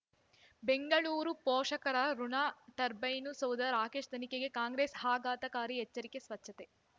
ಬೆಂಗಳೂರು ಪೋಷಕರಋಣ ಟರ್ಬೈನು ಸೌಧ ರಾಕೇಶ್ ತನಿಖೆಗೆ ಕಾಂಗ್ರೆಸ್ ಆಘಾತಕಾರಿ ಎಚ್ಚರಿಕೆ ಸ್ವಚ್ಛತೆ